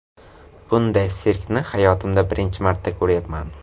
Bunday sirkni hayotimda birinchi marta ko‘ryapman.